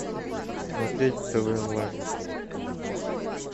смотреть тв онлайн